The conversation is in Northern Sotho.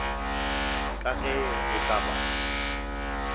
ka ge go ka ba